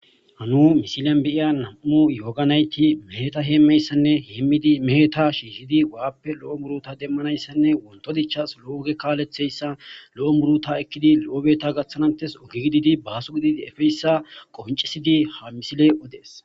Hano nu misilen nuu bayiya nam'u yooga naytti mehetta hemiyayisanne mehetta shiishshidii baappe lo'o muuruta deemanayisanne wontto dichchas lo'o ooge kaleththizayssa lo'o muuruta eekiddi lo'o beetta gaaththanas hites ooge gididi baaso gididi eepiyayissa qonccisidii ha misiley oodes